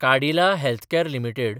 Cadila healthcare limited